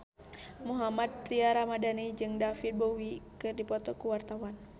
Mohammad Tria Ramadhani jeung David Bowie keur dipoto ku wartawan